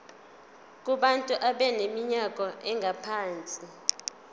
kubantu abaneminyaka engaphansi